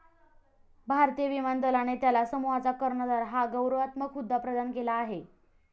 भारतीय विमान दलाने त्याला समूहाचा कर्णधार हा गौरवात्मक हुद्दा प्रदान केला आहे.